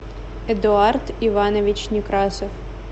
эдуард иванович некрасов